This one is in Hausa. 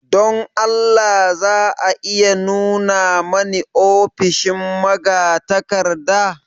Don Allah za a iya nuna mani ofishin magatakarda?